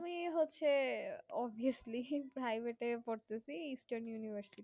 আমি হচ্ছে obviously highway তে পড়তেছি eastern university